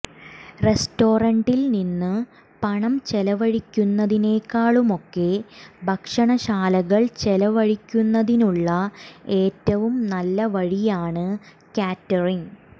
റസ്റ്റോറന്റിൽ നിന്ന് പണം ചെലവഴിക്കുന്നതിനേക്കാളുമൊക്കെ ഭക്ഷണശാലകൾ ചെലവഴിക്കുന്നതിനുള്ള ഏറ്റവും നല്ല വഴിയാണ് കാറ്ററിങ്